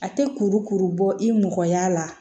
A tɛ kurukuru bɔ i mɔgɔya la